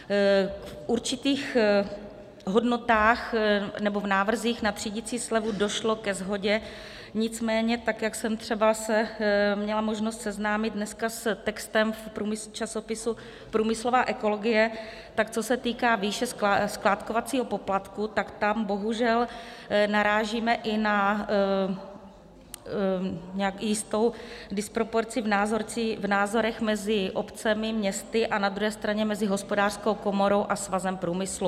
V určitých hodnotách nebo v návrzích na třídicí slevu došlo ke shodě, nicméně, tak jak jsem třeba se měla možnost seznámit dneska s textem v časopisu Průmyslová ekologie, tak co se týká výše skládkovacího poplatku, tak tam bohužel narážíme i na jistou disproporci v názorech mezi obcemi, městy a na druhé straně mezi Hospodářskou komorou a Svazem průmyslu.